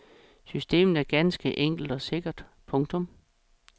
Systemet var ganske enkelt og sikkert. punktum